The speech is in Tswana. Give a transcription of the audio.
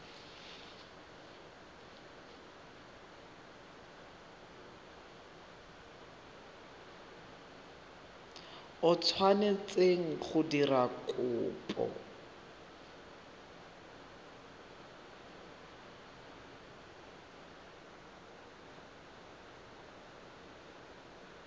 o tshwanetseng go dira kopo